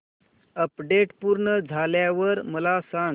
update पूर्ण झाल्यावर मला सांग